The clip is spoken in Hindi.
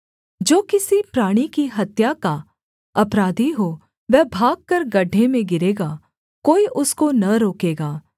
जो किसी प्राणी की हत्या का अपराधी हो वह भागकर गड्ढे में गिरेगा कोई उसको न रोकेगा